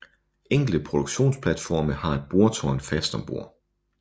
Enkelte produktionsplatforme har et boretårn fast om bord